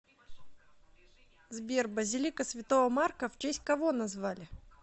сбер базилика святого марка в честь кого назвали